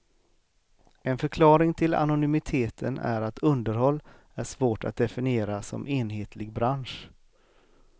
En förklaring till anonymiteten är att underhåll är svårt att definiera som enhetlig bransch.